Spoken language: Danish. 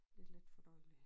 Lidt letfordøjelig